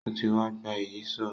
Ó ti wa gba Ìyíṣòó